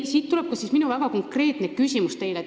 Siit tuleb minu väga konkreetne küsimus teile.